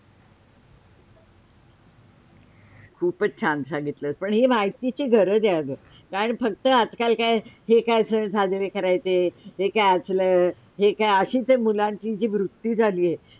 खूपच छान सांगितलस पण हे महितीची गरज आहे आ गं कारण फक्त आज- काल काय हे काय सण साजरा करायचे हे काय आसला, हे काय अशी ते मुलांची जी वृत्ती झाली आहे.